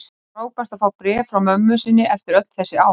Frábært að fá bréf frá mömmu sinni eftir öll þessi ár.